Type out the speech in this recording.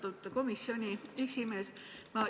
Austatud komisjoni esimees!